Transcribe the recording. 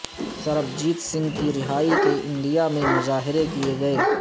سربجیت سنگھ کی رہائی کے انڈیا میں مظاہرے کیے گئے